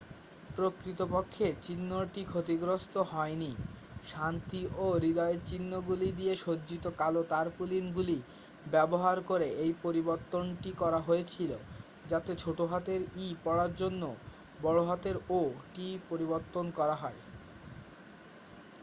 "প্রকৃতপক্ষে চিহ্নটি ক্ষতিগ্রস্থ হয়নি; শান্তি ও হৃদয়ের চিহ্নগুলি দিয়ে সজ্জিত কালো তারপুলিনগুলি ব্যবহার করে এই পরিবর্তনটি করা হয়েছিল যাতে ছোটহাতের "e" পড়ার জন্য "o" টি পরিবর্তন করা হয়।